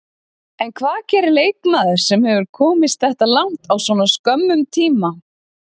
En hvað gerir leikmaður sem hefur komist þetta langt á svona skömmum tíma?